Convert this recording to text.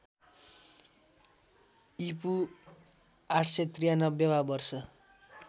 ईपू ८९३ वा वर्ष